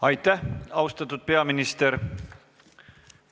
Aitäh, austatud peaminister!